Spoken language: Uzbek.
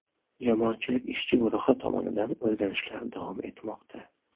Jamoatchilik ishchi guruhi tomonidan o‘rganishlar davom etmoqda.